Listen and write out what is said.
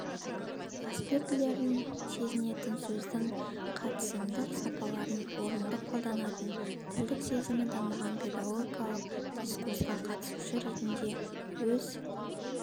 аспектілерін сезінетін сөздің қатысымдық сапаларын орынды қолданатын тілдік сезімі дамыған педагогикалық дискурсқа қатысушы ретінде өз